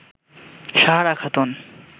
Sahara Khatun